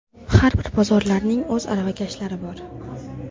Har bir bozorlarning o‘z aravakashlari bor.